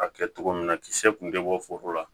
A kɛ cogo min na kisɛ kun te bɔ foro la